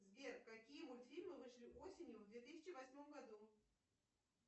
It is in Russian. сбер какие мультфильмы вышли осенью в две тысячи восьмом году